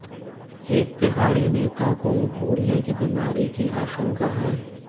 एक तिहाड़ी नेता को भूलने की बीमारी की आशंका है